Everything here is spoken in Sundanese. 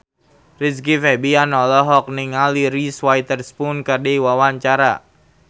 Rizky Febian olohok ningali Reese Witherspoon keur diwawancara